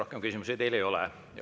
Rohkem küsimusi teile ei ole.